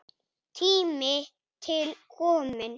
Tími til kominn.